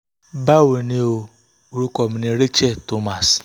bawo ni o? orúkọ mi ni rachel thomas